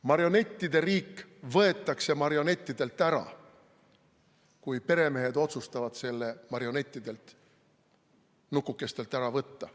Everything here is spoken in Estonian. Marionettide riik võetakse marionettidelt ära, kui peremehed otsustavad selle marionettidelt, nukukestelt, ära võtta.